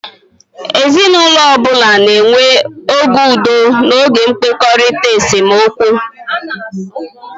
Ezinaụlọ ọ bụla na-enwe oge udo na oge ndọkọrita (esemokwu).